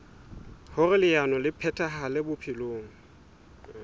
hoer leano le phethahale bophelong